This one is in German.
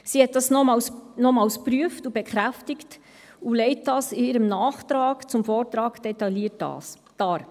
Sie hat dies nochmals geprüft und bekräftigt, und legt dies in ihrem Nachtrag zum Vortrag detailliert dar.